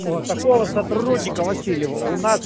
о такого сотрудника васильева у нас